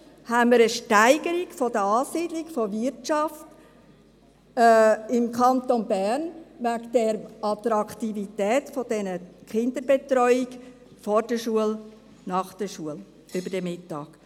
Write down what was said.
Haben wir eine Steigerung der Ansiedlung der Wirtschaft im Kanton Bern aufgrund der Attraktivität der Kinderbetreuung vor der Schule, nach der Schule und über den Mittag?